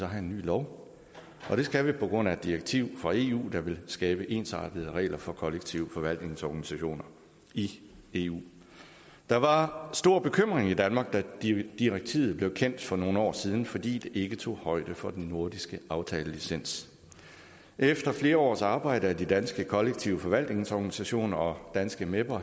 have en ny lov det skal vi på grund af et direktiv fra eu der vil skabe ensartede regler for kollektiv forvaltnings organisationer i eu der var stor bekymring i danmark da direktivet blev kendt for nogle år siden fordi det ikke tog højde for den nordiske aftalelicens efter flere års arbejde af de danske kollektiv forvaltnings organisationer og danske meper